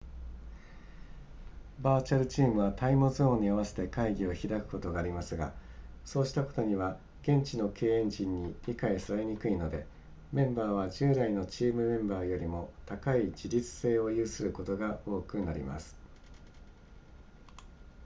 バーチャルチームはタイムゾーンに合わせて会議を開くことがありますがそうしたことは現地の経営陣に理解されにくいのでメンバーは従来のチームメンバーよりも高い自律性を有することが多くなります